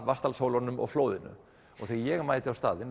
Vatnsdal að Vatnsdalshólunum og flóðinu og þegar ég mæti á staðinn